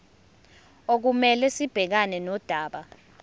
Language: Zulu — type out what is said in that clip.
okumele sibhekane nodaba